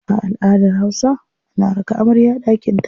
A aladar hausa, ana raka amarya daƙinta.